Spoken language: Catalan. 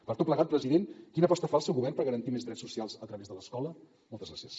per tot plegat president quina aposta fa el seu govern per garantir més drets socials a través de l’escola moltes gràcies